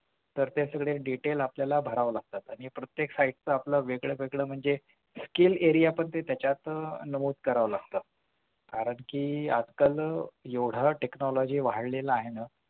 पण ते सगळे detail आपल्याला भाराव लागतात आणि प्रत्येक site चं वेगळं म्हणजे skill area पण त्याच्यात आह नमूद करावं लागतं कारण कि आपण एवढ technology वाढलेलं आहे ना